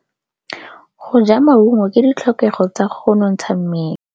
Go ja maungo ke ditlhokegô tsa go nontsha mmele.